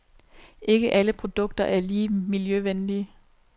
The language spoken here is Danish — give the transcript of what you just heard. Ikke alle produkter er lige miljøvenlige.